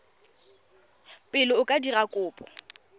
pele o ka dira kopo